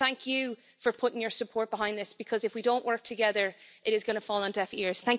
Thank you for putting your support behind this because if we don't work together it is going to fall on deaf ears.